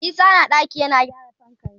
Isa na ɗaki yana gyara fankan shi.